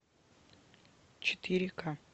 четыре ка